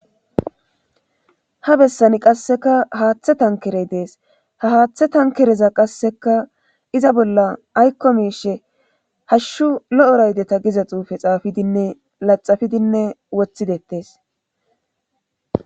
Ha bessani qasseka haaththe tankerey dees ha haaththe tankereza qasseka iza bolla aykko miishe hashshu lo7o raydeta giza xuufe xaafidinne laxafidinne wothidettes.